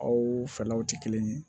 Aw fɛlaw tɛ kelen ye